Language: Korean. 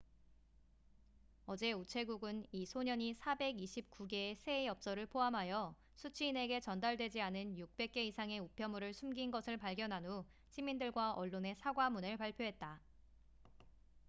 어제 우체국은 이 소년이 429개의 새해 엽서를 포함하여 수취인에게 전달되지 않은 600개 이상의 우편물을 숨긴 것을 발견한 후 시민들과 언론에 사과문을 발표했다